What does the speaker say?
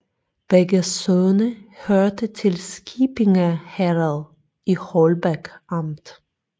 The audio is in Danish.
Begge sogne hørte til Skippinge Herred i Holbæk Amt